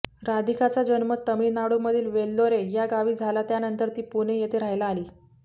राधिका चा जन्म तमिळनाडूमधील वेल्लोरे या गावी झाला त्यानंतर ती पुणे येथे राहायला आली